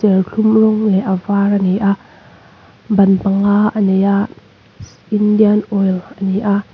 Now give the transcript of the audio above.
serthlum rawng leh a var ania ban panga a nei a Indian Oil ani a--